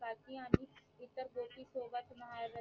भारतीयांनी इतर गोष्टीन सोबत महाराजांनी